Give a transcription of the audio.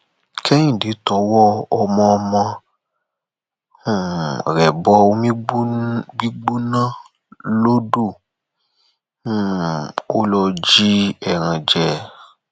kẹhìndẹ tọwọ ọmọọmọ um rẹ bọ omi gbígbóná lodò um ò lọ jí ẹran jẹ